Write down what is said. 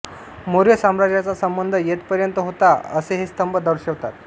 मौर्य साम्राज्याचा संबंध येथ पर्यंत होता असे हे स्तंभ दर्शवतात